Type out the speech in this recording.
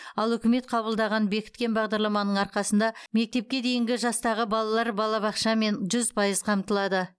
ал үкімет қабылдаған бекіткен бағдарламаның арқасында мектепке дейінгі жастағы балалар балабақшамен жүз пайыз қамтылады